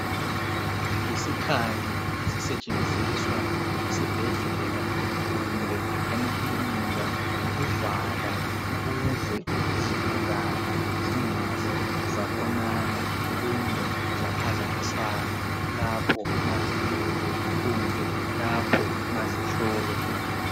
Yisikhali esisetshenziswa esibhedlela kumbe emakilinika ukuvala ukuze izigulane zingaze zabonana kumbe zaphazamisana lapho mazilele kumbe lapho mazihlolwa.